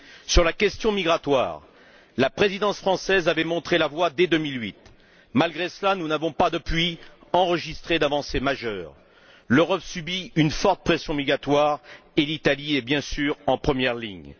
Sur la question migratoire, la Présidence française avait, dès 2008, montré la voie. Malgré cela, nous n'avons pas, depuis, enregistré d'avancées majeures. L'Europe subit une forte pression migratoire et l'Italie est bien sûr en première ligne.